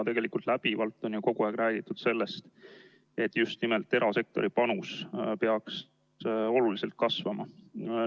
Tegelikult on kogu aeg räägitud sellest, et just nimelt erasektori panus peaks oluliselt kasvama.